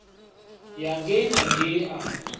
ya ngei na ngei a